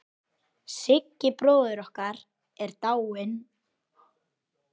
Siggi bróðir okkar er dáinn.